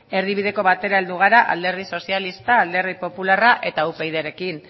erdibideko batera heldu gara alderdi sozialista alderdi popularra eta upydrekin